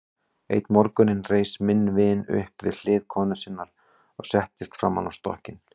Einn morgun reis minn vin upp við hlið konu sinnar og settist framan á stokkinn.